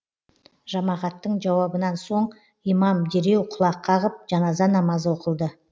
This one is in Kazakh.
жамағаттың жауабынан соң имам дереу құлақ қағып жаназа намазы оқылды